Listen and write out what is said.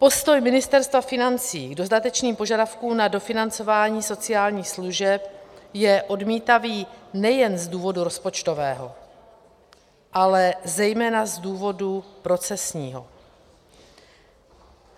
Postoj Ministerstva financí k dodatečným požadavků na dofinancování sociálních služeb je odmítavý nejen z důvodu rozpočtového, ale zejména z důvodu procesního.